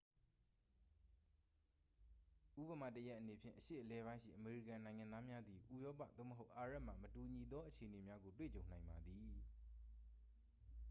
ဥပမာတစ်ရပ်အနေဖြင့် အရှေ့အလယ်ပိုင်းရှိအမေရိကန်နိုင်ငံသားများသည် ဥရောပ သို့မဟုတ် အာရပ်မှ မတူညီသောအခြေအနေများကို တွေ့ကြုံနိုင်ပါသည်